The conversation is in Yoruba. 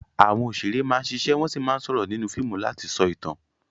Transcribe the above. Àwọn òṣèré máa ń ṣiṣẹ́ wọ́n sì máa ń sọ̀rọ̀ nínú fíìmù láti sọ ìtàn.